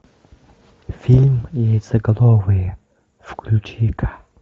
фильм яйцеголовые включи ка